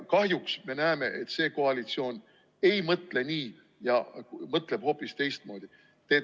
Kahjuks me näeme, et see koalitsioon ei mõtle nii ja mõtleb hoopis teistmoodi.